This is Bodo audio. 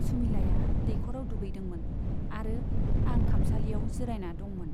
सुमिलाया दैख'राव दुगैदोंमोन आरो आं खामसालियाव जिरायना दंमोन।